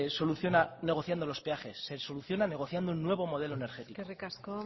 soluciona negociando los peajes se soluciona negociando un nuevo modelo energético eskerrik asko